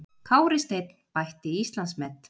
Kári Steinn bætti Íslandsmet